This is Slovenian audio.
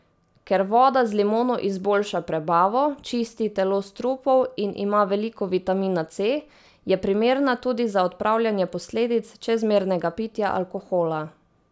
Ker voda z limono izboljša prebavo, čisti telo strupov in ima veliko vitamina C, je primerna tudi za odpravljanje posledic čezmernega pitja alkohola.